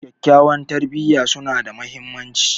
Kyakkyawan tarbiyya suna da mahimmanci.